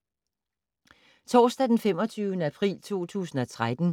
Torsdag d. 25. april 2013